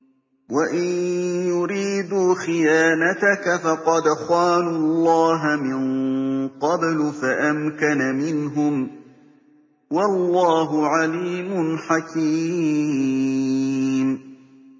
وَإِن يُرِيدُوا خِيَانَتَكَ فَقَدْ خَانُوا اللَّهَ مِن قَبْلُ فَأَمْكَنَ مِنْهُمْ ۗ وَاللَّهُ عَلِيمٌ حَكِيمٌ